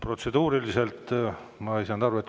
Protseduuriliselt ma ei saanud aru.